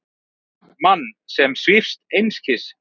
Mann sem svífst einskis.